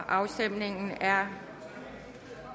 afstemningen er